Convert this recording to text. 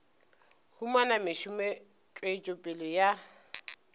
humana mešomo tswetšo pele ya